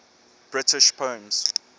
british poems